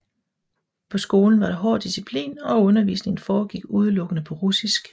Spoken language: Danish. På skolen var der hård disciplin og undervisningen foregik udelukkende på russisk